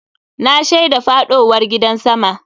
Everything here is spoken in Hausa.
Na shaida faɗowar gidan sama.